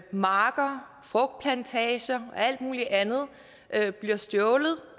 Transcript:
marker frugtplantager og alt muligt andet andet bliver stjålet